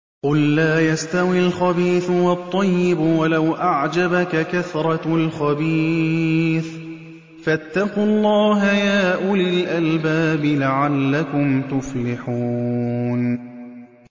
قُل لَّا يَسْتَوِي الْخَبِيثُ وَالطَّيِّبُ وَلَوْ أَعْجَبَكَ كَثْرَةُ الْخَبِيثِ ۚ فَاتَّقُوا اللَّهَ يَا أُولِي الْأَلْبَابِ لَعَلَّكُمْ تُفْلِحُونَ